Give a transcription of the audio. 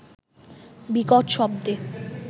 বিকট শব্দে